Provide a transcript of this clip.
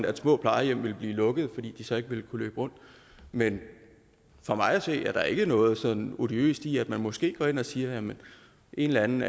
at små plejehjem ville blive lukket fordi de så ikke ville kunne løbe rundt men for mig at se er der ikke noget sådan odiøst i at man måske går ind og siger at en eller anden